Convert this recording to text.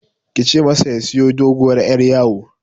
Kice masa ya siyo doguwar Yar yawo